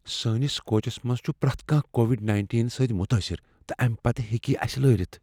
سٲنس کوچس منز چھ پریتھ کانٛہہ کووڈ نٔینٹیٖن سۭتۍ متٲثر تہٕ امہ پتہ ہیٚکہ یہ اسہ لٲرِتھ